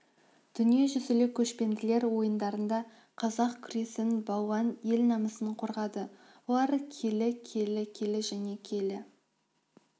дүниежүзілік көшпенділер ойындарында қазақ күресін балуан ел намысын қорғады олар келі келі келі келі және келі